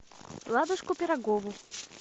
ладушку пирогову